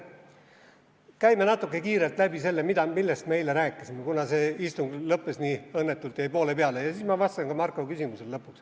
Käime kiirelt läbi selle, millest me eile rääkisime, kuna see istung lõppes nii õnnetult, jäi poole peale, ja siis ma vastan lõpuks ka Marko küsimusele.